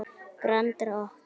Grand Rokk.